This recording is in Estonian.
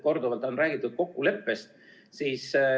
Korduvalt on siin räägitud kokkuleppest.